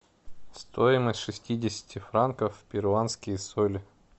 стоимость шестидесяти франков в перуанские соли